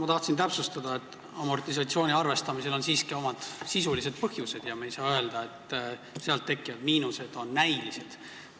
Ma tahtsin täpsustada, et amortisatsiooni arvestamisel on siiski omad sisulised põhjused ja me ei saa öelda, et sealt tekkivad miinused on näilised.